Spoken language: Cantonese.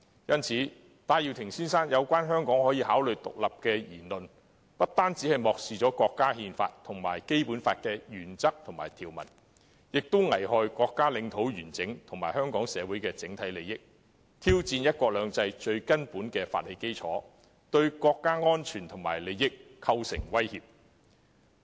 因此，戴耀廷先生發表香港可以考慮獨立的言論，不單漠視了國家憲法及《基本法》的原則和條文，也危害國家領土完整及香港社會的整體利益，挑戰"一國兩制"最基本的法理基礎，而且對國家安全和利益構成威脅。